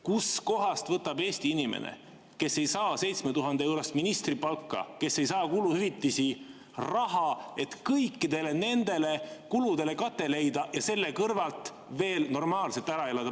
Kust kohast võtab Eesti inimene – kes ei saa 7000‑eurost ministripalka, kes ei saa kuluhüvitisi – raha, et kõikidele nendele kuludele kate leida ja selle kõrvalt veel normaalselt ära elada?